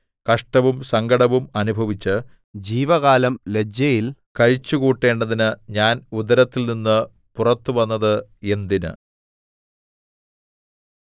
കഷ്ടവും സങ്കടവും അനുഭവിച്ച് ജീവകാലം ലജ്ജയിൽ കഴിച്ചുകൂട്ടേണ്ടതിന് ഞാൻ ഉദരത്തിൽനിന്ന് പുറത്തുവന്നത് എന്തിന്